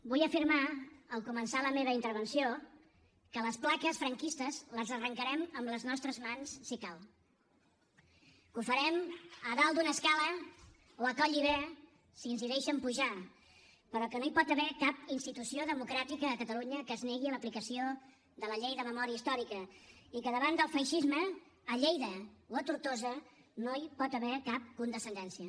vull afirmar al començar la meva intervenció que les plaques franquistes les arrencarem amb les nostres mans si cal que ho farem a dalt d’una escala o a collibè si ens hi deixen pujar però que no hi pot haver cap institució democràtica a catalunya que es negui a l’aplicació de la llei de memòria històrica i que davant del feixisme a lleida o a tortosa no hi pot haver cap condescendència